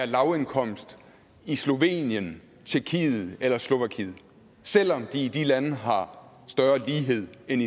lavindkomstgrupperne i slovenien tjekkiet eller slovakiet selv om de i de lande har større lighed end